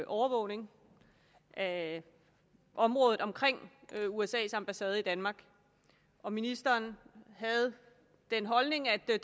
overvågning af området omkring usas ambassade i danmark og ministeren havde den holdning at der